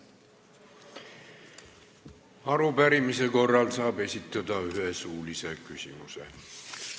Arupärimise korral saab esitada ühe suulise küsimuse.